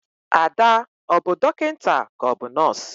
Ada, ọ bu dọkịnta ka ọ bụ nọs?